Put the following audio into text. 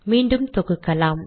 மீண்டும் தொகுக்கலாம்